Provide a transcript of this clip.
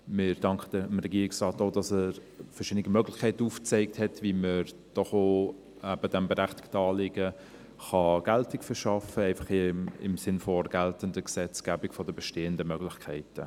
Wir danken dem Regierungsrat, dass er verschiedene Möglichkeiten aufgezeigt hat, wie man diesem berechtigten Anliegen Geltung verschaffen kann, und zwar im Sinne der geltenden Gesetzgebung und der bestehenden Möglichkeiten.